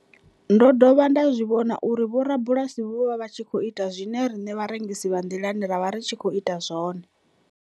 Ndo dovha nda zwi vhona uri vhorabulasi vho vha vha tshi khou ita zwe riṋe vharengisi vha nḓilani ra vha ri tshi khou ita zwone.